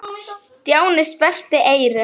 Stjáni sperrti eyrun.